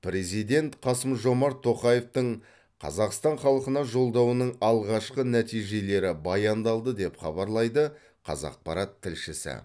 президент қасым жомарт тоқаевтың қазақстан халқына жолдауының алғашқы нәтижелері баяндалды деп хабарлайды қазақпарат тілшісі